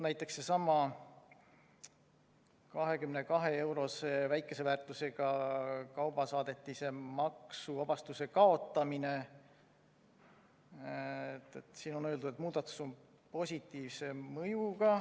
Näiteks sellesama 22‑eurose, väikese väärtusega kaubasaadetise maksuvabastuse kaotamise kohta on öeldud, et muudatus on positiivse mõjuga.